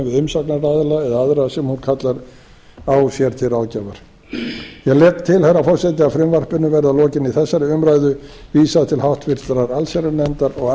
við umsagnaraðila eða aðra sem hún kallar á sér til ráðgjafar ég legg til herra forseti að frumvarpinu verði að lokinni þessari umræðu vísað til háttvirtrar allsherjarnefndar og